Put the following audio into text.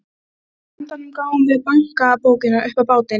Af einhverjum ástæðum er ég í mjög góðu skapi.